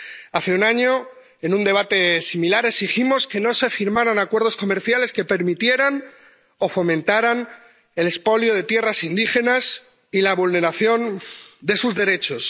Hace un año, en un debate similar, exigimos que no se firmaran acuerdos comerciales que permitieran o fomentaran el expolio de tierras indígenas y la vulneración de sus derechos.